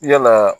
Yalaa